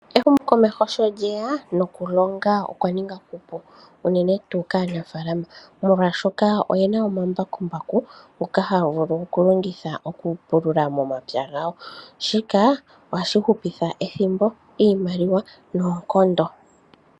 Ehumokomeho sholyeya nokulonga okwa ninga okupu unene tuu kaanafaalama yuunamapya molwaashoka, oyena omambakumbaku ngoka haga longithwa okupulula momapya gawo. Shika ohashi hupitha ethimbo, iimaliwa noonkondo.